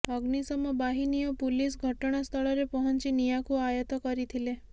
ଅଗ୍ନିଶମ ବାହନୀ ଓ ପୁଲିସ୍ ଘଟଣାସ୍ଥଳରେ ପହଞ୍ଚି ନିଆଁକୁ ଆୟତ୍ତ କରିଥିଲେ